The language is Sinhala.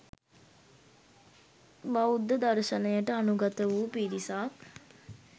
බෞද්ධ දර්ශනයට අනුගත වූ පිරිසක්